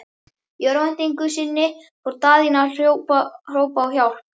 Í örvæntingu sinni fór Daðína að hrópa á hjálp.